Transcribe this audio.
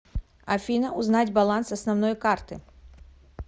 афина узнать баланс основной карты